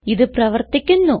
ഇത് പ്രവർത്തിക്കുന്നു